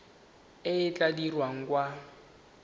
e e tla dirwang kwa